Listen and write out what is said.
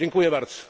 Dziękuję bardzo,